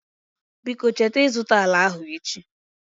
Biko cheta ịzụta ala ahụ echi.